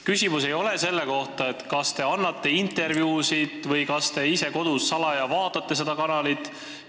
Küsimus ei ole selles, kas te annate intervjuusid või kas te ise kodus salaja seda kanalit vaatate.